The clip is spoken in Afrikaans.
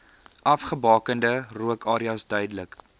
afgebakende rookareas duidelik